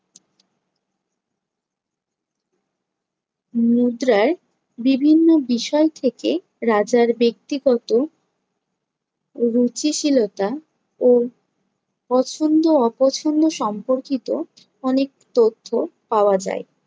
মুদ্রায় বিভিন্ন বিষয় থেকে রাজার ব্যক্তিগত ও রুচিশীলতা ও পছন্দ-অপছন্দ সম্পর্কিত অনেক তথ্য পাওয়া যায়।